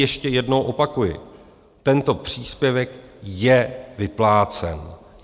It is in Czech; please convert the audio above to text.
Ještě jednou opakuji, tento příspěvek je vyplácen.